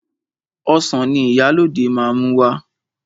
Ọsàn ni Ìyálóde máa mú wá.